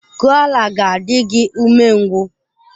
Koala ga-adị gị umengwụ.